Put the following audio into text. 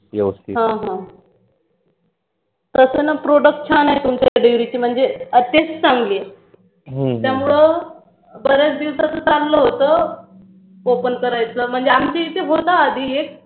हो तस ना product छान आहे तुमच्या dairy चे म्हणजे असेच चांगले त्यामुळे बर्याच दिवसातुन चाल्ल होत open करायच म्हणजे आमच्या इथे होता आधी एक